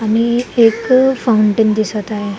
आणि एक फाऊंटन दिसत आहे.